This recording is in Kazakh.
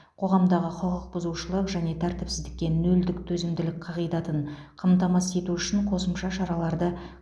қоғамдағы құқық бұзушылық және тәртіпсіздікке нөлдік төзімділік қағидатын қамтамасыз ету үшін қосымша шараларды